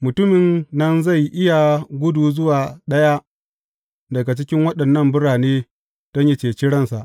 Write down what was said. Mutumin nan zai iya gudu zuwa ɗaya daga cikin waɗannan birane don yă ceci ransa.